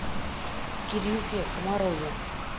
кирюхе комарове